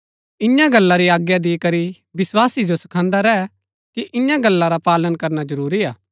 इआं गल्ला री आज्ञा दिकरी विस्वासी जो सखान्‍दा रैह कि इन्या गल्ला रा पालन करना जरूरी हा